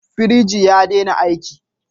Firiji ya dena aiki